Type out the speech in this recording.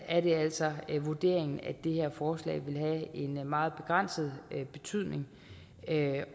er det altså vurderingen at det her forslag vil have en meget begrænset betydning